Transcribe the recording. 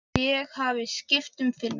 Að ég hafi skipt um filmu.